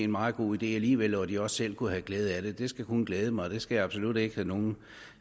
meget god idé alligevel og at de også selv kunne have glæde af det skal kun glæde mig det skal jeg absolut ikke tage nogen